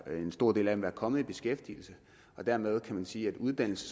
en stor del af dem være kommet i beskæftigelse og dermed kan man sige at uddannelse